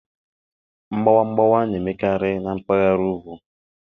Mgbawa mgbawa na-emekarị na mpaghara ugwu.